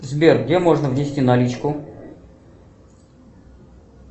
сбер где можно внести наличку